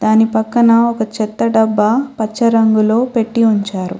దాని పక్కన ఒక చెత్త డబ్బా పచ్చ రంగులో పెట్టి ఉంచారు.